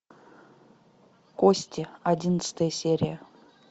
кости одиннадцатая серия